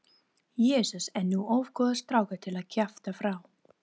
Jesús er nú of góður strákur til að kjafta frá.